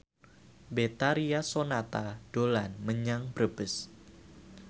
Betharia Sonata dolan menyang Brebes